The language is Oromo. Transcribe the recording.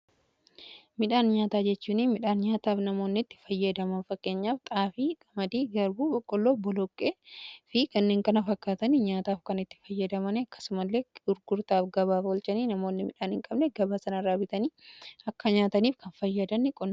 midhaan nyaataa jechuun midhaan nyaataaf namoonni itti fayyadaman fakkeenyaaf xaafii, qamadii, garbuu, boqqolloo, boloqqee fi kanneen kana fakkaatan nyaataaf kan itti fayyadaman akkasumallee gurgurtaa gabaaf oolchaniidha. namoonni midhaan hin qabne gabaa sana irraa bitanii akka nyaataniif kan fayyadudha.